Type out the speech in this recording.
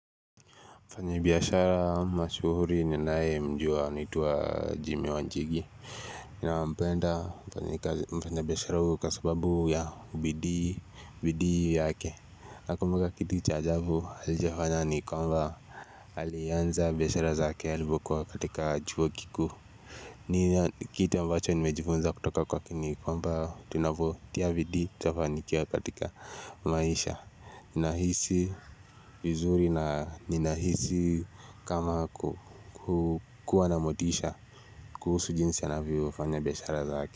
Mfanyibiashara mashuhuri ninayemjua anaitwa Jimmy Wanjigi Nampenda mfanyikazi mfanyibiashara huyu kwa sababu ya ubidii yake Nakumbuka kitu cha ajabu alijifanya ni kwamba alianza biashara zake alivyokuwa katika chuo kikuu ni kitu ambacho nimejifunza kutoka kwake ni kwamba tunavyotia bidii tutafanikiwa katika maisha Ninahisi uzuri na ninahisi kama kukuwa na motisha kuhusu jinsi anavyofanya biashara zake.